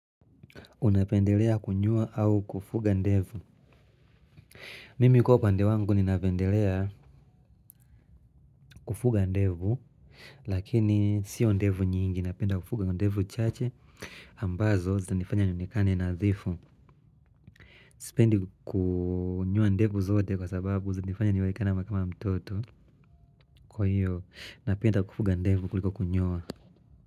Unapendelea kunyoa au kufuga ndevu mimi kwa upande wangu ninapendelea kufuga ndevu lakini sio ndevu nyingi napenda kufuga ndevu chache ambazo zanifanya nionekane nadhifu sipendi kunyoa ndevu zote kwa sababu zanifanya nionekane kama mtoto kwa hiyo napenda kufuga ndevu kuliko kunyoa.